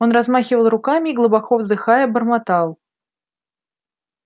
он размахивал руками и глубоко вздыхая бормотал